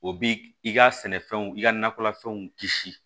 O bi i ka sɛnɛfɛnw i ka nakɔlafɛnw kisi